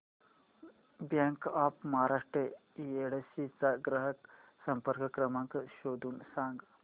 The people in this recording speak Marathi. बँक ऑफ महाराष्ट्र येडशी चा ग्राहक संपर्क क्रमांक शोधून सांग